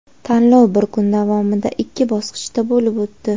Tanlov bir kun davomida ikki bosqichda bo‘lib o‘tdi.